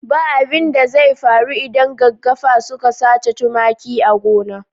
Ba abin da zai faru idan gaggafa suka sace tumaki a gona.